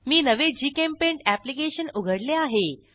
मी नवे JChemPaint application उघडले आहे